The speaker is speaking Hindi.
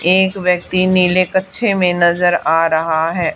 एक व्यक्ति नीले कच्छे में नजर आ रहा है।